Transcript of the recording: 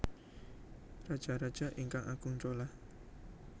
Rajaraja ingkang Agung Chola